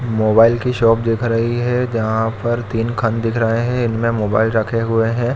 Mobile की shop दिख रही है जहाँ पर तीन खंड दिख रहें हैं एक मे मोबाईल रखें हुए है।